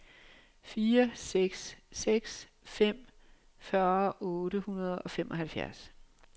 fire seks seks fem fyrre otte hundrede og femoghalvfems